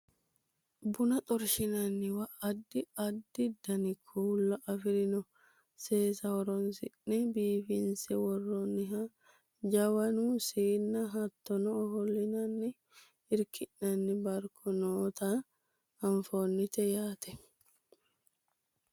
buna xorshinanniwa addi addi dani kuula afirino seesa horonsi'ne biifinse worroonniha jawanu siinna hattono ofollinanninna irki'nanni barkono noota anfannite yaate